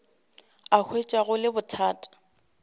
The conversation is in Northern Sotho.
a hwetša go le bothata